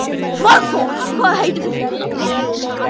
Svanþór, hvað heitir þú fullu nafni?